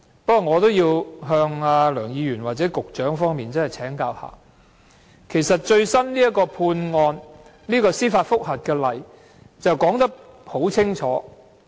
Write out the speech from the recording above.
不過，我仍要向梁議員或局長請教，因為其實這個最新的司法覆核案例已說得很清楚。